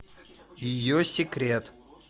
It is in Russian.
ее секрет